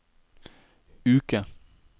uke